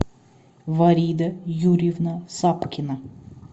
варида юрьевна сапкина